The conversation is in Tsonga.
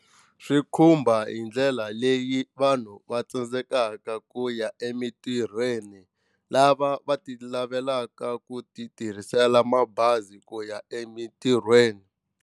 Swi khumba hi ndlela leyi vanhu va tsandzekaka ku ya emitirhweni lava va ti lavelaka ku ti tirhisela mabazi ku ya emitirhweni.